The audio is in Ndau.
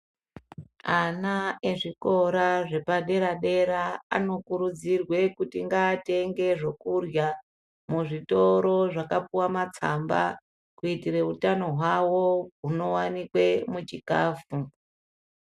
Ana ezvikoro zvepadera dera anokurudzirwe kuti ngaatenge zvokurya muzvitoro zvakapuwa matsamba kuitire utano hwavo hunowanikwe muchikafu.